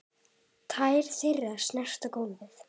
Tær þeirra snerta gólfið.